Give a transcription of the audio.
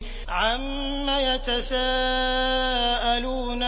عَمَّ يَتَسَاءَلُونَ